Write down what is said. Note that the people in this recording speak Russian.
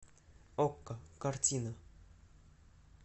окко картина